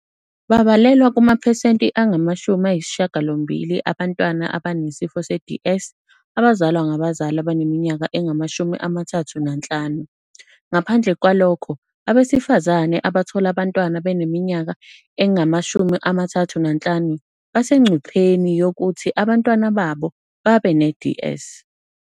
Babalelwa kumaphesenti angama-80 abantwana abane sifo se-DS abazalwa ngabazali abaneminyaka engama-35, ngaphandle kwalokho abesifazane abathola abantwana beneminyaka engama-35 basengcupheni yokuthi abantwana babo babe ne-DS."